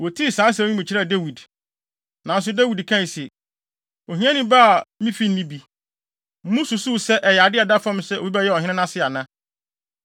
Wotii saa nsɛm yi mu kyerɛɛ Dawid. Nanso Dawid kae se, “Ohiani ba a me fi nni bi, mususuw sɛ ɛyɛ ade a ɛda fam sɛ obi bɛyɛ ɔhene nʼase ana?”